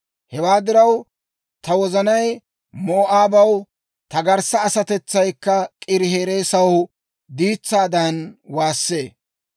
Hewaa diraw, ta wozanay Moo'aabaw, ta garssa asatetsaykka K'iirihereesaw diitsaadan waassee.